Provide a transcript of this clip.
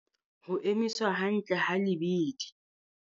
Ho emiswa hantle ha lebidi.